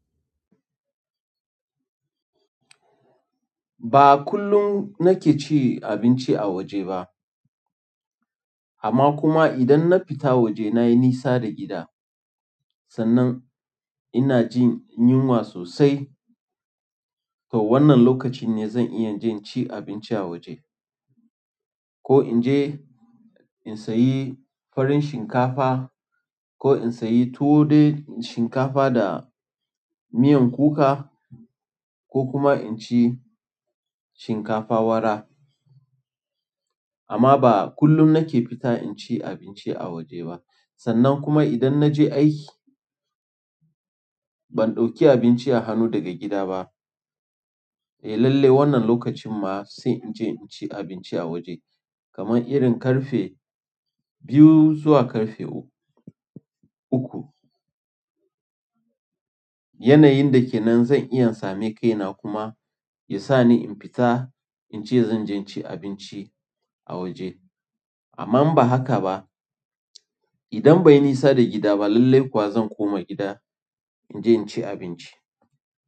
Ba kullum nake ci abinci a waje ba. Amma kuma idan na fita waje na yi nisa da gida, sannan ina jin yunwa sosai. To wannan lokacin ne zan iya jin ci abinci a waje. Ko in je in sayi faran shinkafa, ko in sayi tuwo dai shinkafa da miyan kuka, ko kuma in ci shinkafa wara. Amma ba kullum nake fita in ci abinci a waje ba. Sannan kuma idan na je aiki, ban ɗauki abinci a hannu daga gida ba. Eh lalle wannan lokacin ma sai in je in ci abinci a waje. Kaman irin ƙarfe biyu zuwa ƙarfe uku. Yanayin da ke nan zan iya same kaina kuma ya sa ni in fita in ce zan je ci abinci a waje. Amma in ba haka ba. Idan bai nisa da gida ba lallai kuwa zan koma gida, in je in ci abinci.